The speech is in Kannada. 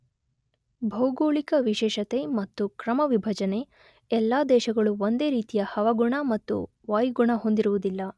ಭೌಗೋಳಿಕ ವಿಶೇಷತೆ ಮತ್ತು ಕ್ರಮ ವಿಭಜನೆ, ಎಲ್ಲಾ ದೇಶಗಳು ಒಂದೇ ರೀತಿಯ ಹವಗುಣ ಮತ್ತು ವಾಯುಗುಣ ಹೊಂದಿರುವುದಿಲ್ಲ.